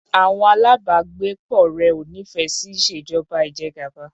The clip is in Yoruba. Àwọn alábàágbépọ̀ rẹ̀ ò nífẹẹ sí ìṣèjọba ìjẹgàba.